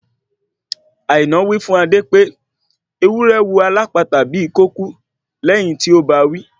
Àìná wí fún Adé pé ewúrẹ́ wò alápatà bíi kò kú lẹ́yìn tí ó bawí